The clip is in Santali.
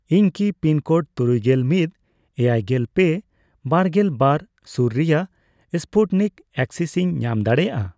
ᱤᱧ ᱠᱤ ᱯᱤᱱᱠᱳᱰ ᱛᱩᱨᱩᱭᱜᱮᱞ ᱢᱤᱫ ,ᱮᱭᱟᱭᱜᱮᱞ ᱯᱮ ,ᱵᱟᱨᱜᱮᱞ ᱵᱟᱨ ᱥᱩᱨ ᱨᱮᱭᱟᱜ ᱥᱯᱩᱴᱱᱤᱠ ᱮᱠᱥᱤᱱᱤᱧ ᱧᱟᱢ ᱫᱟᱲᱮᱭᱟᱜᱼᱟ ᱾